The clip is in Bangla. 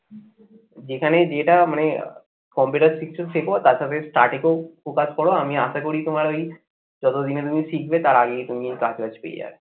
যেখানেই যেটা মানে computer শিখছো শেখ তার সাথে starting focus করো. আমি আশা করি তোমার ওই যতদিনে তুমি শিখবে তার আগেই তুমি এই কাজ টাজ পেয়ে যাবে